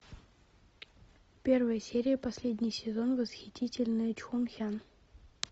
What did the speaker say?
первая серия последний сезон восхитительная чхун хян